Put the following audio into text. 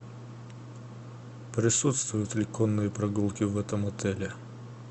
присутствуют ли конные прогулки в этом отеле